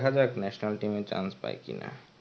দেখা যাক national team এ chance পায় কি না.